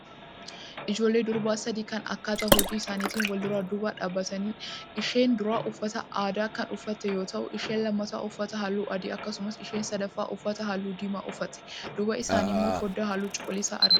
Ijoollee durbaa sadii kan akkaataa hojjaa isaanitiin walduraa duuba dhaabatanidha. Isheen duraa uffata aadaa kan uffatte yoo ta'u isheen lammataa uffata hallu adii akkasuma isheen sadaffaa uffata halluu diimaa uffatte. Duuba isaaniiimmoo foddaa halluu cuquliisaa argina.